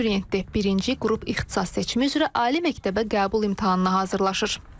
Abituriyentdir, birinci qrup ixtisas seçimi üzrə ali məktəbə qəbul imtahanına hazırlaşır.